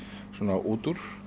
út úr